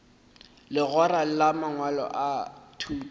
legora la mangwalo a thuto